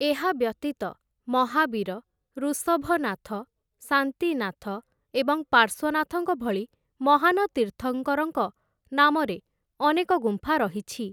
ଏହା ବ୍ୟତୀତ ମହାବୀର, ଋଷଭନାଥ, ଶାନ୍ତିନାଥ, ଏବଂ ପାର୍ଶ୍ୱନାଥଙ୍କ ଭଳି ମହାନ ତୀର୍ଥଙ୍କରଙ୍କ ନାମରେ ଅନେକ ଗୁମ୍ଫା ରହିଛି ।